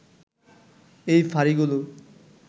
এই ফাঁড়িগুলো